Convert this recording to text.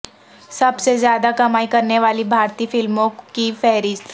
سب سے زیادہ کمائی کرنے والی بھارتی فلموں کی فہرست